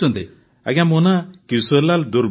ଆଜ୍ଞା ମୋ ନାଁ କିଶୋରୀଲାଲ ଦୂର୍ବେ